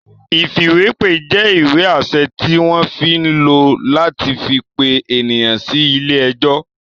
Ìfìwépè jẹ́ ìwé-àṣẹ tí wọ́n ń lò láti fi pe ènìyàn sí ilé-ẹjọ́.